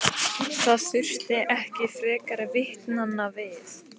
Það þurfti ekki frekari vitnanna við.